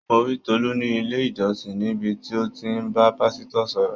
Mo rí Tolu ní ilé-ìjọsìn, níbi tí ó ti ń bá pásítọ̀ sọ̀rọ̀.